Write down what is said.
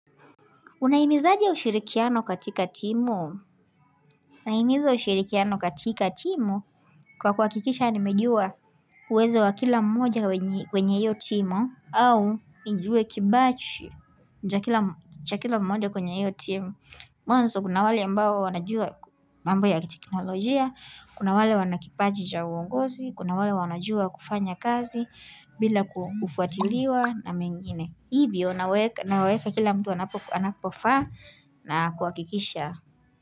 Unahimizaje ushirikiano katika timu? Nahimizo ushirikiano katika timu, kwa kuhakikisha nimejua uwezo wa kila mmoja kwenye hiyo timu au nijue kibachi cha kila mmoja kwenye hiyo timu. Mwanzo kuna wale ambao wanajua mambo ya teknolojia, kuna wale wanakipaji cha uongozi, kuna wale wanajua kufanya kazi bila kufuatiliwa na mengine. Hivyo naweka kila mtu anapofaa na kuhakikisha.